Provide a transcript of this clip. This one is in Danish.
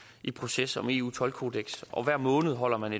i proces om eu toldkodeks og hver måned holder man